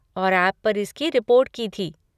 और ऐप पर इसकी रिपोर्ट की थी।